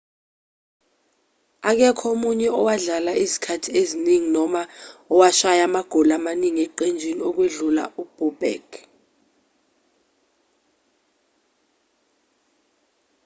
akekho omunye owadlala izikhathi eziningi noma owashaya amagoli amaningi eqenjini ukwedlula u-bobek